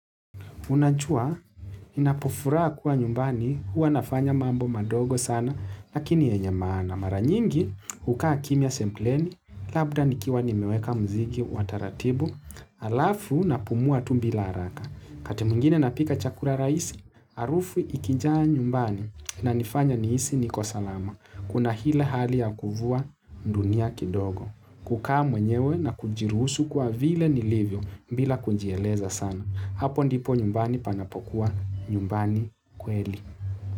Unajua, ninapofurahi kuwa nyumbani, huwa nafanya mambo madogo sana, lakini yenye maana. Maranyingi, hukaa kimya sebuleni, labda nikiwa nimeweka muziki, wataratibu, alafu napumua tu bila haraka. Wakati mwingine napika chakula rahisi, harufu ikijaa nyumbani ina nifanya nihisi niko salama. Kuna ile hali ya kuvua, dunia kidogo. Kukaa mwenyewe na kujirusu kwa vile nilivyo, bila kujieleza sana. Hapo ndipo nyumbani panapokuwa nyumbani kweli.